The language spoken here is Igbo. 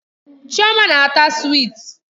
Chioma na-ata swiiti.